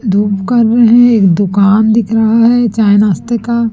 धूप कर रहें हैं एक दुकान दिख रहा हैं चाय नाश्ते का।